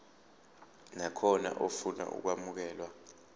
nakhona ofuna ukwamukelwa